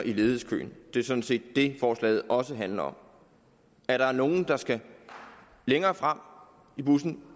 i ledighedskøen det er sådan set det forslaget også handler om der er nogle der skal længere frem i bussen